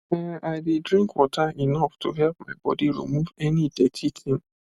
ehn i dey drink water enough to help my body remove any dirty thing